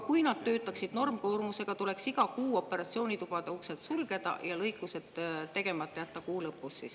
Kui nad töötaksid normkoormusega, tuleks iga kuu lõpus operatsioonitubade uksed sulgeda ja lõikused tegemata jätta.